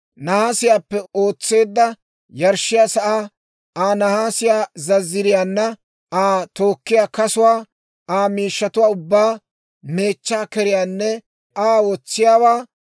nahaasiyaappe ootseedda yarshshiyaa sa'aa, Aa nahaasiyaa zazziriiyaana, Aa tookkiyaa kasuwaa, Aa miishshatuwaa ubbaa, meechchaa keriyaanne Aa wotsiyaawaa,